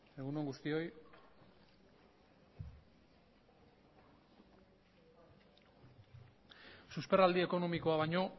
egun on guztioi susperraldi ekonomikoa baino